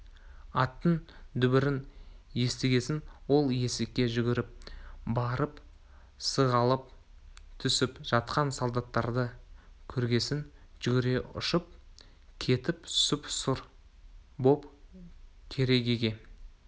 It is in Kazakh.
аттың дүбірін естігесін ол есікке жүгіріп барып сығалап түсіп жатқан солдаттарды көргесін жүрегі ұшып кетіп сұп-сұр боп керегеге